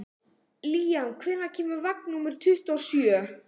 Líam, hvenær kemur vagn númer tuttugu og sjö?